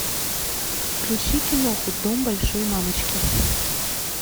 включи киноху дом большой мамочки